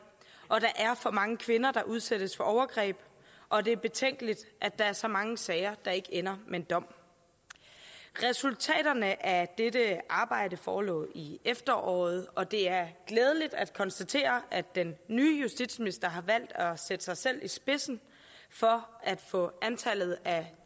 og der er for mange kvinder der udsættes for overgreb og det er betænkeligt at der er så mange sager der ikke ender med en dom resultaterne af dette arbejde forelå i efteråret og det er glædeligt at konstatere at den nye justitsminister har valgt at sætte sig selv i spidsen for at få antallet af